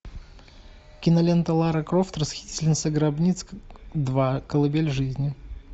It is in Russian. кинолента лара крофт расхитительница гробниц два колыбель жизни